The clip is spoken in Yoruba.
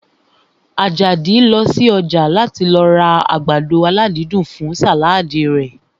Àjàdí lọ sí ọjà láti lọ ra àgbàdo aládídùn fún sàládì rẹ̀